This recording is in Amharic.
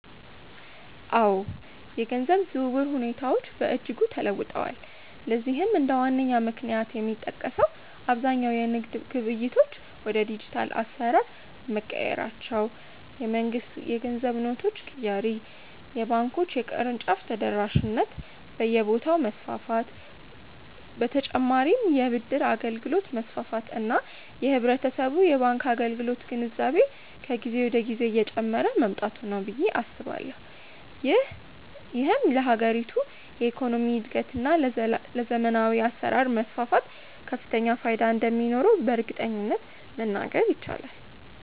አዎ፣ የገንዘብ ዝውውር ሁኔታዎች በእጅጉ ተለውጠዋል። ለዚህም እንደ ዋነኛ ምክንያት የሚጠቀሰው አብዛኛው የንግድ ግብይቶች ወደ ዲጂታል አሰራር መቀየራቸው፣ የመንግስት የገንዘብ ኖቶች ቅያሬ፣ የባንኮች የቅርንጫፍ ተደራሽነት በየቦታው መስፋፋት በ ተጨማርም የ ብድር አገልግሎት መስፋፋት እና የህብረተሰቡ የባንክ አገልግሎት ግንዛቤ ከጊዜ ወደ ጊዜ እየጨመረ መምጣቱ ነው ብዬ አስባለሁ። ይህም ለሀገሪቱ የኢኮኖሚ እድገት እና ለዘመናዊ አሰራር መስፋፋት ከፍተኛ ፋይዳ እንደሚኖረውም በእርግጠኝነት መናገር ይቻላል።